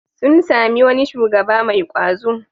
Sun sami wani shugaba mai ƙwazo.